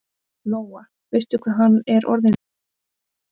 Lóa: Veistu hvað hann er orðinn langur?